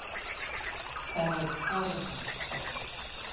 Það voru foreldrar okkar.